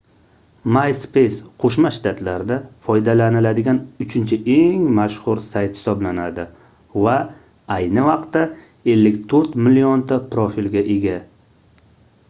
myspace qoʻshma shtatlarda foydalaniladigan uchinchi eng mashhur sayt hisoblanadi va ayni vaqtda 54 millionta profilga ega